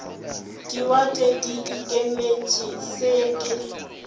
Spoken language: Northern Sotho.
diwate di ikemetše se ke